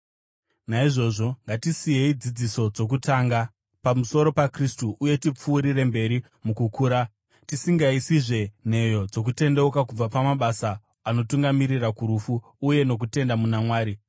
Naizvozvo ngatisiyei dzidziso dzokutanga pamusoro paKristu uye tipfuurire mberi mukukura, tisingaisizve nheyo dzokutendeuka kubva pamabasa anotungamirira kurufu, uye nokutenda muna Mwari,